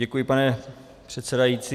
Děkuji, pane předsedající.